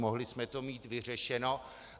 Mohli jsme to mít vyřešeno.